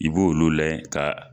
I b'o olu layɛ ka